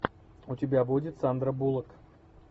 у тебя будет сандра буллок